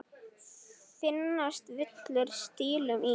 Finnast villur stílum í.